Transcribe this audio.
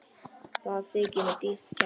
Það þykir mér dýrt kex.